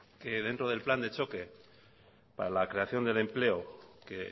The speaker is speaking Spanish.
que dentro del plan de choque para la creación del empleo que